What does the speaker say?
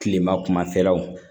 Kilema kumafɛlaw